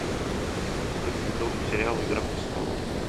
шестой сезон сериала игра престолов